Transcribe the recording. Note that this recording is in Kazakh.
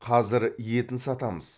қазір етін сатамыз